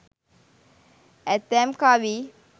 ඇතැම් කවි